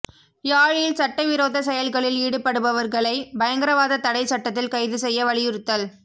யாழில் சட்டவிரோத செயல்களில் ஈடுபடுபவர்களை பயங்கரவாத தடை சட்டத்தில் கைது செய்ய வலியுறுத்தல்